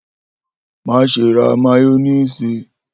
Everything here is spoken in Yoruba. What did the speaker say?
Maṣe ra mayonnaise!